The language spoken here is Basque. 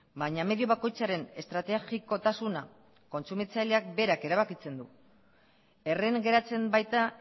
baina medio bakoitzaren estrategikotasuna kontsumitzaileak berak erabakitzen du erren geratzen baita